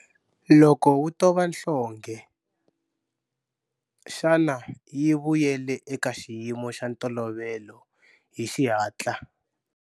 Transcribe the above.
Loko u tova nhlonghe, xana yi vuyele eka xiyimo xa ntolovelo hi xihatla?